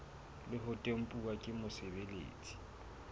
le ho tempuwa ke mosebeletsi